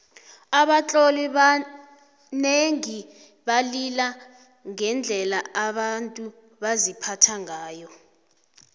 abatloli abanengi balila ngendlela abantu baziphatha ngayo